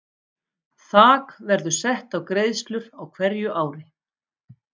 Þak verður sett á greiðslur á hverju ári.